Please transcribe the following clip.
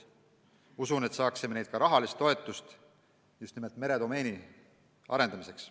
Usun, et saaksime neilt ka rahalist toetust just nimelt meredomeeni arendamiseks.